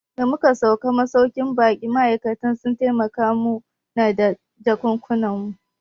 Da muka sauka a masauƙin baƙin ma'aikatan sun taimaka mu na da jakunkunan mu